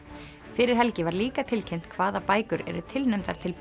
fyrir helgi var líka tilkynnt hvaða bækur eru tilnefndar til